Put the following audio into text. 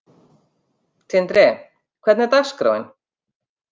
Tindri, hvernig er dagskráin?